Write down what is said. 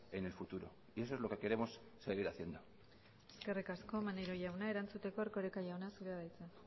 en el futuro y eso es lo que queremos seguir haciendo eskerrik asko maneiro jauna erantzuteko erkoreka jauna zurea da hitza